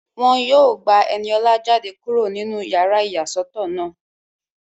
Wọ́n yóò gba Ẹniọlá jáde kúrò nínú yàrá ìyàsọ́tọ̀ náà